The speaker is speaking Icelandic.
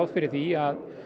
fyrir því að